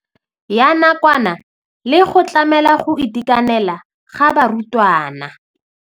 Ya nakwana le go tlamela go itekanela ga barutwana.